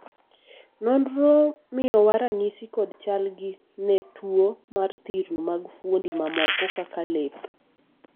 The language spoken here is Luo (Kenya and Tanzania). nonro miyowa ranyisi kod chal gi ne tuo mar thirno mag fuondi mamoko kaka lep